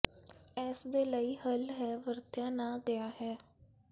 ਇਸ ਦੇ ਲਈ ਹੱਲ ਹੈ ਵਰਤਿਆ ਨਾ ਗਿਆ ਹੈ